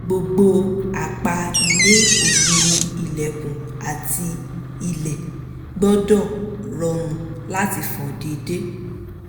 gbogbo apá ilé - ògiri ilẹ̀kùn àti ilẹ̀ - gbọ́dọ̀ rọrùn láti fọ déédéé